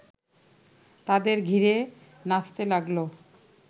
তাদের ঘিরে নাচতে লাগল